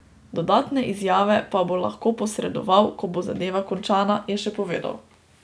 Dodatne izjave pa bo lahko posredoval, ko bo zadeva končana, je še povedal.